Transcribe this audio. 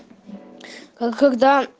как когда